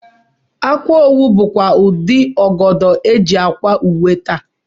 Akwaowu bụkwa otú ụdị ọgọdọ e ji ákwà uwe taa